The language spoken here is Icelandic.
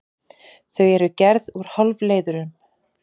Þau eru gerð úr hálfleiðurum.